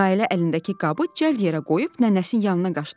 Nailə əlindəki qabı cəld yerə qoyub nənəsinin yanına qaçdı.